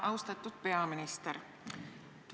Austatud peaminister!